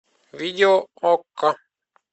видео окко